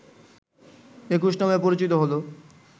একুশ নামে পরিচিত হলো